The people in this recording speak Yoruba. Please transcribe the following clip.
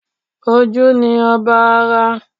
Ojú ni ọba ara